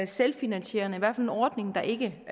selvfinansierende i hvert fald en ordning der ikke